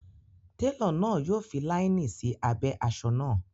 Télọ̀ náà yọ fi láínì sí abẹ́ asọ náà